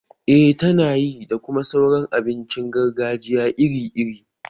Eh tana yi, da kuma sauran abincin gargajiya iri iri